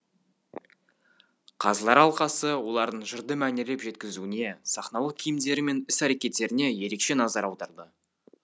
қазылар алқасы олардың жырды мәнерлеп жеткізуіне сахналық киімдері мен іс әрекеттеріне ерекше назар аударды